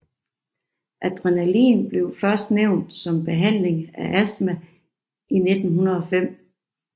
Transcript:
Adrenalin blev først nævnt som behandling af astma i 1905